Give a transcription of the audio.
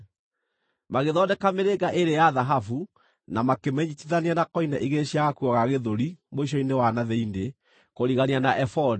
Magĩthondeka mĩrĩnga ĩĩrĩ ya thahabu na makĩmĩnyiitithania na koine igĩrĩ cia gakuo ga gĩthũri mũico-inĩ wa na thĩinĩ, kũrigania na ebodi.